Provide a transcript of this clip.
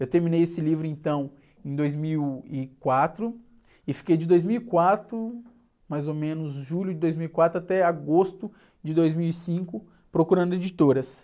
Eu terminei esse livro então em dois mil e quatro e fiquei de dois mil e quatro, mais ou menos, julho de dois mil e quatro até agosto de dois mil e cinco procurando editoras.